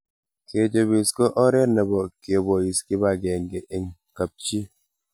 Kechopis ko oret nebo kebois kipakenge eng kapchi